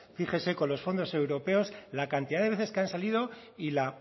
fíjese con los fondos europeos la cantidad de veces que han salido y la